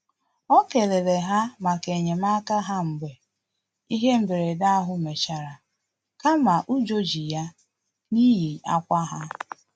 O kelere ha maka enyemaka ha mgbe ihe mberede ahụ mechara kama ụjọ ji ya n'ihi akwa ha